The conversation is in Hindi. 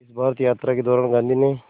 इस भारत यात्रा के दौरान गांधी ने